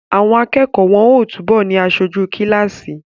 Àwọn akẹ́kọ̀ọ́ wọ́n ó túbọ̀ ni aṣojú kíláàsì